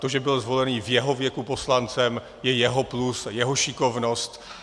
To, že byl zvolený ve svém věku poslancem, je jeho plus, jeho šikovnost.